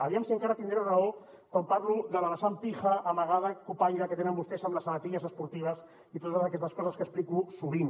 aviam si encara tindré raó quan parlo de la vessant pija amagada cupaire que tenen vostès amb les sabatilles esportives i totes aquestes coses que explico sovint